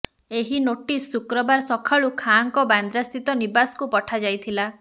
ଏହି ନୋଟିସ ଶୁକ୍ରବାର ସକାଳୁ ଖାଁଙ୍କ ବାନ୍ଦ୍ରାସ୍ଥିତ ନିବାସକୁ ପଠାଯାଇଥିଲା